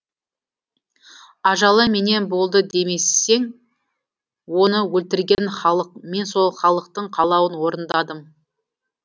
ажалы менен болды демесең оны өлтірген халық мен сол халықтың қалауын орындадым